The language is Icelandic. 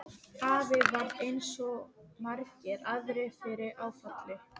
Afi varð eins og svo margir aðrir fyrir áfalli.